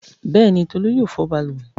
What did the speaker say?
Bẹ́ẹ̀ni, Tolú yóò fọ balùwẹ̀.